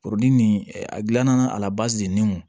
nin a gilanna a nin kun